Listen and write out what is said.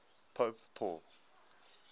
pope paul